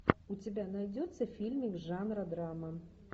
у тебя найдется фильмик жанра драма